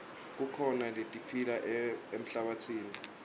kukhona letiphila emhlabatsini